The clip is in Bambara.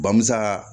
Bamuso